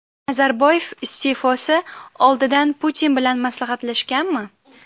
Nazarboyev iste’fosi oldidan Putin bilan maslahatlashganmi?